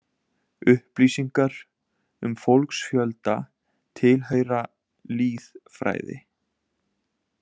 Upplýsingar um fólksfjölda tilheyra lýðfræði.